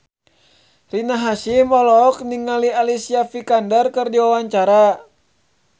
Rina Hasyim olohok ningali Alicia Vikander keur diwawancara